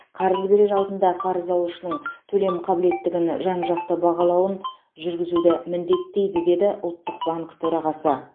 қарыз берер алдында қарыз алушының төлем қабілеттігін жан жақты бағалауын жүргізуді міндеттейді деді ұлттық банк төрағасы